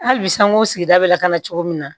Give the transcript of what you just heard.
Hali bi sanko sigida bɛ lakana cogo min na